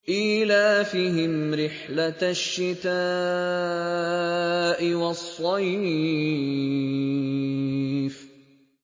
إِيلَافِهِمْ رِحْلَةَ الشِّتَاءِ وَالصَّيْفِ